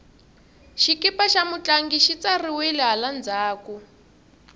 xikipa xa mutlangi xi tsariwile hala ndzhaku